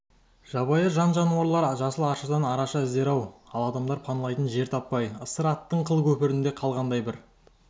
жабайы жан-жануар жасыл аршадан араша іздер ау ал адамдар паналайтын жер таппай ысыр аттың қыл көпірінде қалғандай бір